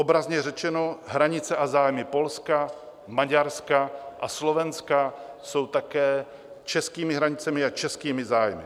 Obrazně řečeno - hranice a zájmy Polska, Maďarska a Slovenska jsou také českými hranicemi a českými zájmy.